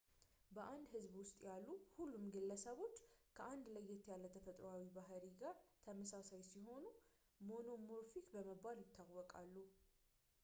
በአንድ ሕዝብ ውስጥ ያሉ ሁሉም ግለሰቦች ከአንድ ለየት ያለ ተፈጥሮአዊ ባሕሪ ጋር ተመሳሳይ ሲሆኑ ሞኖሞርፊክ በመባል ይታወቃሉ